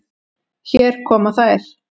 Hér koma þær.